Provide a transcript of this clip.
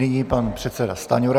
Nyní pan předseda Stanjura.